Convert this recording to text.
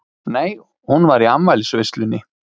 Nei, hún var í afmælisveislunni.